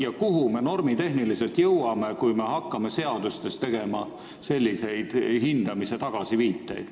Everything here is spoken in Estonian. Ja kuhu me normitehniliselt jõuame, kui hakkame seadustes viitama sellisele hindamisele?